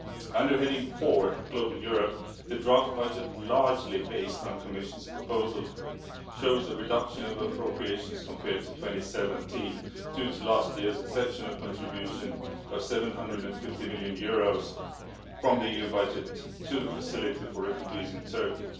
Under heading 4, Global Europe, the draft budget largely based on the Commission's proposal shows a reduction of appropriations compared to 2017 due to last year's exceptional contribution of EUR 750 million from the EU budget to the facility for refugees in Turkey.